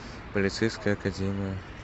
полицейская академия